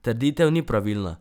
Trditev ni pravilna.